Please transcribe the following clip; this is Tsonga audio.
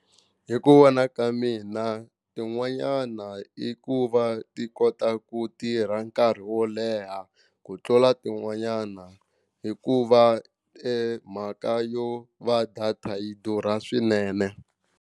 Hi ku vona ka mina tin'wanyana i ku va ti kota ku tirha nkarhi wo leha ku tlula tin'wanyana hikuva mhaka yo va data yi durha swinene.